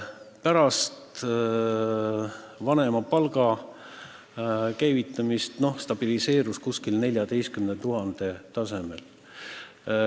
Pärast vanemapalga käivitamist stabiliseerus sündimus umbes 14 000 lapse tasemel.